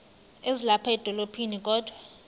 ezilapha edolophini kodwa